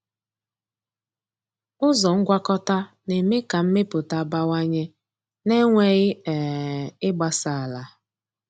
Ụzọ ngwakọta na-eme ka mmepụta bawanye na-enweghị um ịgbasa ala.